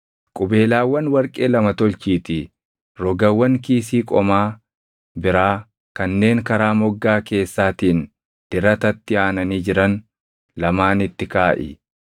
Qubeelaawwan warqee lama tolchiitii rogawwan kiisii qomaa biraa kanneen karaa moggaa keessaatiin diratatti aananii jiran lamaanitti kaaʼi.